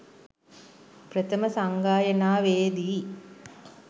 ප්‍රථම සංගායනාවේ දී